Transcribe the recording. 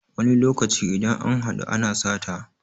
wani lokaci idan an haɗu ana sata